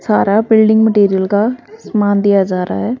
सारा building material का सामान दिया जा रहा है।